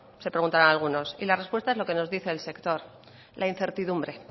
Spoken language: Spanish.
se preguntarán algunos y la respuesta es lo que nos dice el sector la incertidumbre